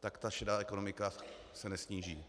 tak ta šedá ekonomika se nesníží.